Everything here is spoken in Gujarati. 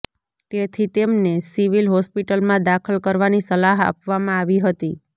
તેથી તેમને સિવિલ હોસ્પિટલમાં દાખલ કરવાની સલાહ આપવામાં આવી હતી